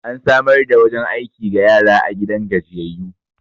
an samar da wajen aiki ga yara a gidan gajiyayyu